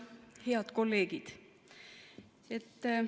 Head kolleegid!